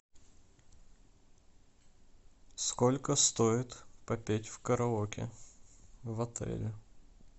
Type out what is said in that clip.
сколько стоит попеть в караоке в отеле